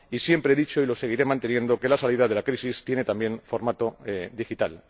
Siempre he dicho, y lo seguiré manteniendo, que la salida de la crisis tiene también formato digital.